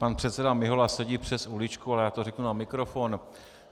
Pan předseda Mihola sedí přes uličku, ale já to řeknu na mikrofon.